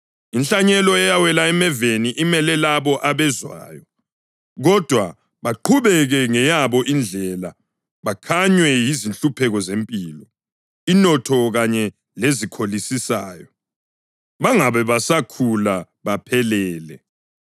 Inhlanyelo eyawela emeveni imele labo abezwayo, kodwa baqhubeke ngeyabo indlela bakhanywe yizinhlupheko zempilo, inotho kanye lezikholisisayo, bangabe besakhula baphelele.